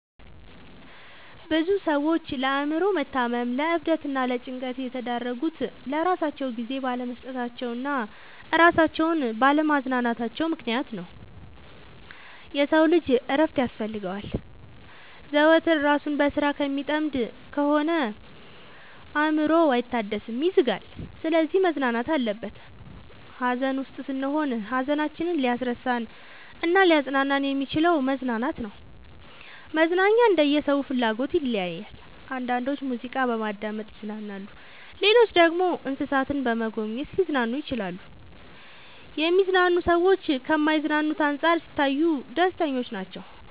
ብዙ ሰዎች ለአእምሮ መታመም ለዕብደት እና ለጭንቀት የተዳረጉት ለራሳቸው ጊዜ ባለመስጠታቸው እና እራሳቸውን ባለ ማዝናናታቸው ምክንያት ነው። የሰው ልጅ እረፍት ያስፈልገዋል። ዘወትር እራሱን በስራ ከሚጠምድ ከሆነ አእምሮው አይታደስም ይዝጋል። ስለዚህ መዝናናት አለበት። ሀዘን ውስጥ ስንሆን ሀዘናችንን ሊያስረሳን እናሊያፅናናን የሚችለው መዝናናት ነው። መዝናናኛ እንደየ ሰው ፍላጎት ይለያያል። አንዳንዶች ሙዚቃ በማዳመጥ ይዝናናሉ ሌሎች ደግሞ እንሰሳትን በመጎብኘት ሊዝናኑ ይችላሉ። የሚዝናኑ ሰዎች ከማይዝናኑት አንፃር ሲታዩ ደስተኞች ናቸው።